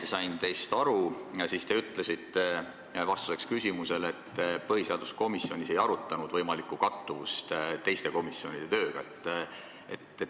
Kui ma sain teist õigesti aru, siis te ütlesite ühele küsimusele vastuseks, et põhiseaduskomisjonis ei arutatud võimalikku kattuvust teiste komisjonide tööga.